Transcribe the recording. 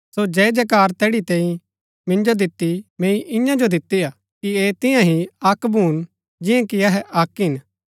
सो जय जयकार जैड़ी तैंई मिन्जो दिती मैंई ईयांईं जो दिती हा कि ऐह तियां ही अक्क भून जियां कि अहै अक्क हिन